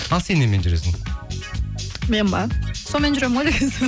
ал сен немен жүресің мен бе сонымен жүремін ғой